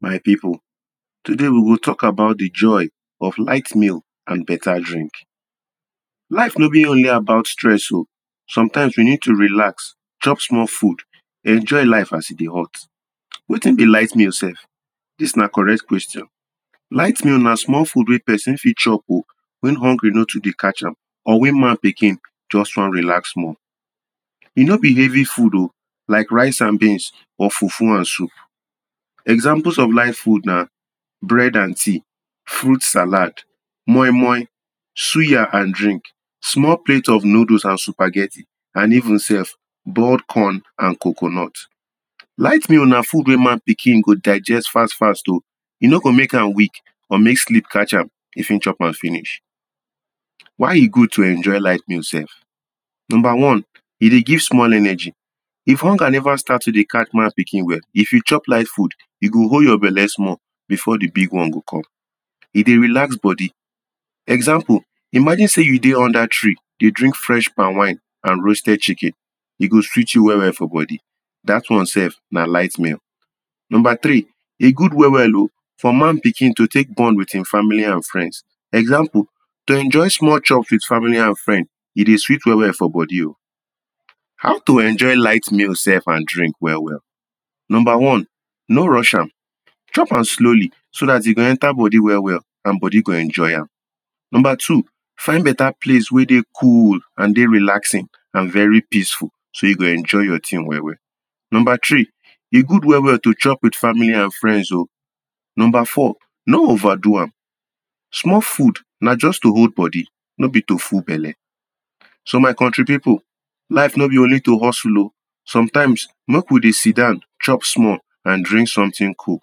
My people, today we will talk about di joy of light meal and better drink. Life no be only about stress o. Sometimes, we need to relax, chop small food, enjoy life as e dey hot. Wetin be light meal sef? Dis na correct question. Light meal na small food wey pesin fit chop o when hungry no too de catch am or when man pikin just wan relax small. E no be heavy food o like rice and beans, or fufu and soup. Examples of light food na bread and tea, fruit salad, moimoi, suya and drink, small plate of noodles and supaghetti, and even sef boiled corn and coconut. Light food na food wey man pikin go digest fast fast o. E no go make am weak, or make sleep catch am if im chop am finish. Why e good to enjoy light meal sef? Number one, e dey give small energy. If hunger never start to dey catch man pikin well, if e chop light food, e go hold your belle small before di big one go come. E dey relax body. Example: imagine say you dey under tree, dey drink fresh palmwine and roasted chicken, e go sweet you well well for body. Dat one sef na light meal. Number three, e good well well o for man pikin to take bond with im family and friends. Example: to enjoy small chops with family and friends, e dey sweet well well for body. How to enjoy light meal sef and drink well well? Number one, no rush am. Chop am slowly so dat e go enter body well well, and body go enjoy am. Number two, find better place wey dey cool and dey relaxing, and very peaceful, so you go enjoy your tin well well. Number three, e good well well to chop with family and friends o. Number four, no overdo am. Small food na just to hold body, no be to full belle. So my country people, life no be only to hustle o. Sometimes, make we dey sidon chop small and drink something cool.